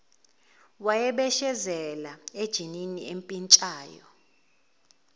wayebeshezela ejinini empintshayo